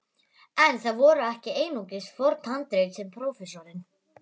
En það voru ekki einungis forn handrit sem prófessorinn